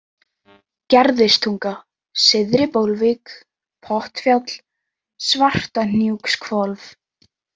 Gerðistunga, Syðri-Bólvík, Pottfjall, Svartahnúkshvolf